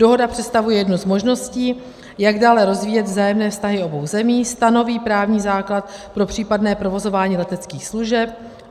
Dohoda představuje jednu z možností, jak dále rozvíjet vzájemné vztahy obou zemí, stanoví právní základ pro případné provozování leteckých služeb.